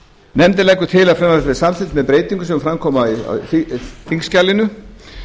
nefndin leggur til að frumvarpið verði samþykkt með breytingum sem fram koma í þingskjalinu